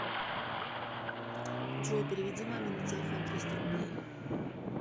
джой переведи маме на телефон триста рублей